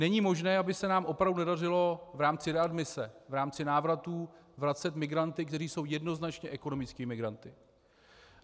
Není možné, aby se nám opravdu nedařilo v rámci readmise, v rámci návratů vracet migranty, kteří jsou jednoznačně ekonomickými migranty.